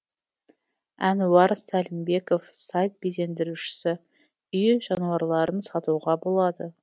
әнуар сәлімбеков сайт безендірушісі үй жануарларын сатуға болады